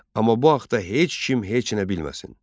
Amma bu haqta heç kim heç nə bilməsin.